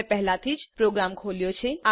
મેં પહેલાથી પ્રોગ્રામ ખોલ્યો છે